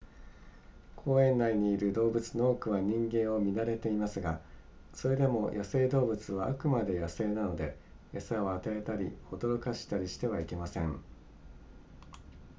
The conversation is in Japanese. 公園内にいる動物の多くは人間を見慣れていますがそれでも野生動物はあくまで野生なので餌を与えたり驚かしたりしてはいけません